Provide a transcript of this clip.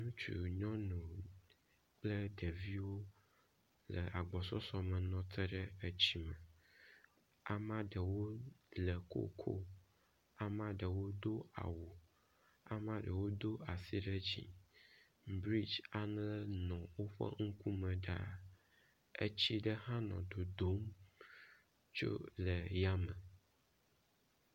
nutsu nyɔnu kple ɖeviwo le agbɔsɔsɔ me nɔte ɖe etsi me amaɖewo le koko amaɖewo do awu amaɖewo dó asi ɖe dzi bridge aɖe nɔ wó megbe ɖaa etsi ɖe hã nɔ dodom tso yame